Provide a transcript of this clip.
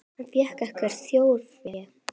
Hann fékk ekkert þjórfé.